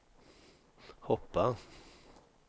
hoppa